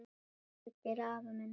Þorgeir afi minn.